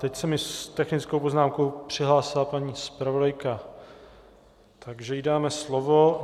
Teď se mi s technickou poznámkou přihlásila paní zpravodajka, takže jí dáme slovo.